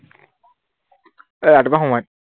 এৰ ৰাতিপুৱা সময়ত